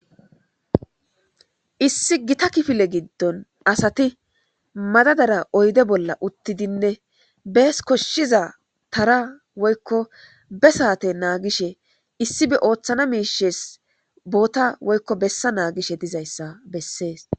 Issi gita kifile gidon asati madadara oyde bola uttidinne bezi koshizza tara woyko be sate nangidi issi othana mishes beta woykko bessa nagishe dizzayssa besses.